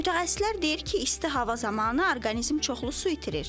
Mütəxəssislər deyir ki, isti hava zamanı orqanizm çoxlu su itirir.